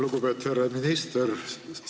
Lugupeetud härra minister!